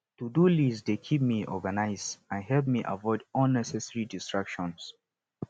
todo list dey keep me organized and help me avoid unnecessary distractions